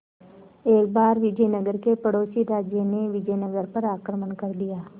एक बार विजयनगर के पड़ोसी राज्य ने विजयनगर पर आक्रमण कर दिया